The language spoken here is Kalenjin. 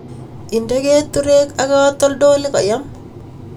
Inde keturek ak katoltolik koyam